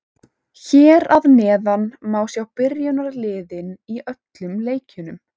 Hér að neðan má sjá byrjunarliðin úr öllum leikjunum.